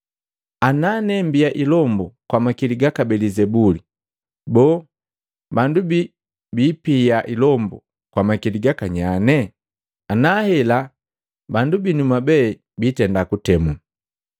Ana ne mbia ilombu kwamakili gaka Belizebuli, boo bandu bii apia ilombu kwa makili gaka nyanye? Ana hela bandu binu mwabe biitenda kuntemu!